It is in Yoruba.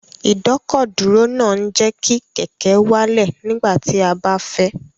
Ìdọ́kọ̀dúró náà ń jẹ́ kí kẹ̀kẹ́ wálẹ̀ nígbà tí a bá fẹ́